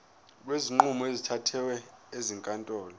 kwezinqumo ezithathwe ezinkantolo